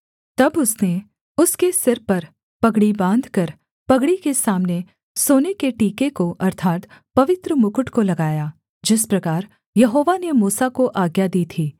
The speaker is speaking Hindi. तब उसने उसके सिर पर पगड़ी बाँधकर पगड़ी के सामने सोने के टीके को अर्थात् पवित्र मुकुट को लगाया जिस प्रकार यहोवा ने मूसा को आज्ञा दी थी